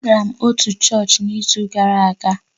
Agara m otu chọọchị n'izu gara aga